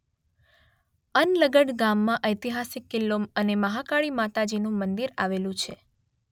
અનલગઢ ગામમાં ઐતિહાસિક કિલ્લો અને મહાકાળી માતાજીનું મંદિર આવેલું છે.